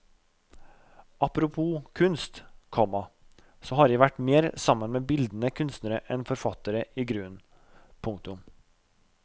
Apropos ordet kunst, komma så har jeg vært mer sammen med bildende kunstnere enn forfattere igrunnen. punktum